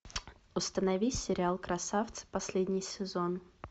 установи сериал красавцы последний сезон